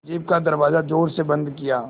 jeep का दरवाज़ा ज़ोर से बंद किया